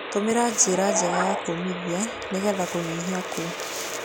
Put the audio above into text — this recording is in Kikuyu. Tũmĩra njĩra njega cia kũũmithia nĩgetha kũnyihia ku